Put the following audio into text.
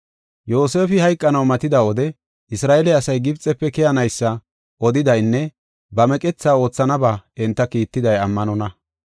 Yoosefi hayqanaw matida wode Isra7eele asay Gibxefe keyanaysa odidaynne ba meqethaa oothanaba enta kiittiday ammanonna.